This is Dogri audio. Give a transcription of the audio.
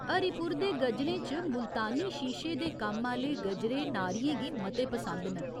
हरिपुर दे गजरें च मुल्तानी शीशे दे कम्म आह्‌ले गजरे नारियें गी मते पसिंद न।